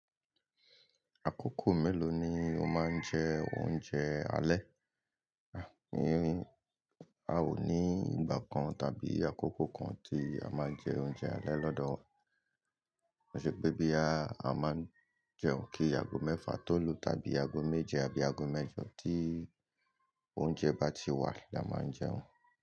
Àkókò mélòó ni o máa ń jẹ oúnjẹ alẹ́? A ò ní ìgbà kan tàbí àkókò kan tí a máa ń jẹ oúnjẹ alẹ́ lọ́dọ̀ wa. Ó ṣe pé bí a máa ń jẹun kí ago mẹ́fà tó lu tàbí ago méje àbí ago mẹ́jọ tí oúnjẹ bá ti wà ni a máa ń jẹun.